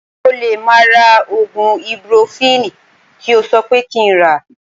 Mo lè má ra oògùn ibupurofini tí o sọ pé kí n rà